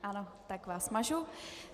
Ano, tak vás mažu.